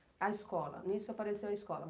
A escola? nisso apareceu a escola.